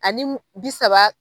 Ani bi saba